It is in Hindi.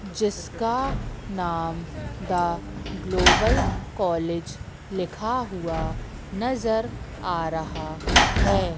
जिसका नाम द ग्लोबल कॉलेज लिखा हुआ नजर आ रहा हैं।